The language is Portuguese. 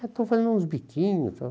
Estou fazendo uns biquinhos.